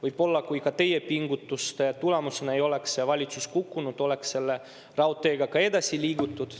Võib-olla, kui ka teie pingutuste tulemusena ei oleks see valitsus kukkunud, oleks selle raudteega ka edasi liigutud.